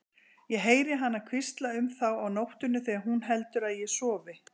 Ég heyri hana hvísla um þá á nóttunni þegar hún heldur að ég sofi.